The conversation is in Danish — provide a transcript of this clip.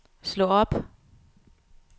slå op